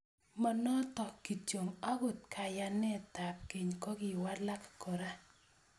Monoto kityo agot kayanetab keny kokiwalak kora